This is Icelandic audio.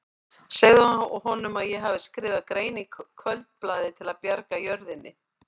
Segðu honum að ég hafi skrifað grein í Kvöldblaðið til að bjarga jörðinni.